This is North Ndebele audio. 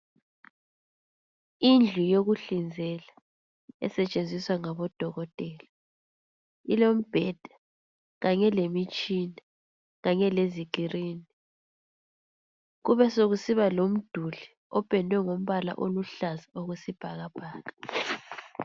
Indlu yokuhlinzela esetshenziswa ngabodokotela, ilombheda kanye lemitshina kanye lezikirini. Kube sokusiba lomduli opendwe ngombala oluhlaza okwesibhakabhaka.